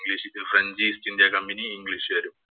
French East India Company യും, ഇംഗ്ലീഷുകാരും